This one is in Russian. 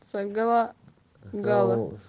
с гала